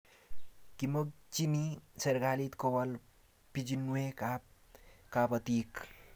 Kimakchini serikalit ko wol pichunwek ab kabatik